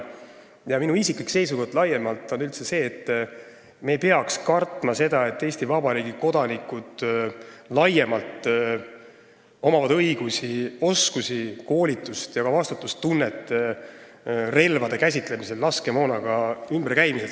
Ja minu isiklik seisukoht laiemalt on üldse see, et me ei peaks kartma seda, kui Eesti Vabariigi kodanikel on õigused, oskused, koolitus ja ka vastutustunne relvade ja laskemoonaga ümberkäimise vallas.